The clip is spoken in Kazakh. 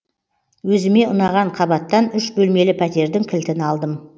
өзіме ұнаған қабаттан үш бөлмелі пәтердің кілтін алдым